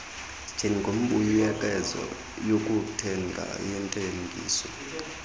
njengembuyekezo yokuthenga yentengiso